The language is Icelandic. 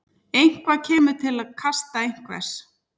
Eitthvað kemur til kasta einhvers